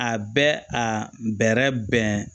A bɛ a bɛrɛ bɛn